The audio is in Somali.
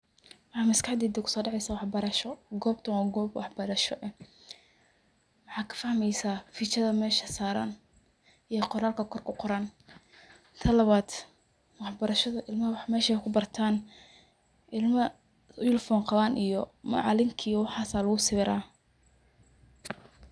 Waxa maskaxdeyda kuso dhaceysa wax batasho, gobtan wa gob wax barasho, waxaa kafahmeysa biijada mesha saaran oo quranka kor kuqoran, tan labad barashada ilmaha mesha wax kubartan, ilma uniform qaban macaalink iyo waxas aya lugu sawira